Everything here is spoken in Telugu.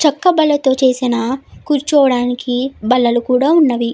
చక్క బల్ల తో చేసిన కూర్చోడానికి బల్లలు కూడా ఉన్నవి.